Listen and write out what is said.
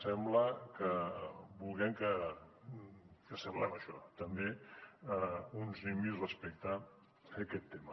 sembla que vulguem que semblem això també uns nimbys respecte a aquest tema